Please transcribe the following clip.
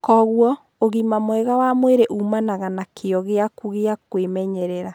Kwoguo, ũgima mwega wa mwĩrĩ uumanaga na kĩyo gĩaku gĩa kwĩmenyerera.